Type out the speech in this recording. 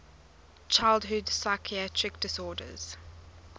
childhood psychiatric disorders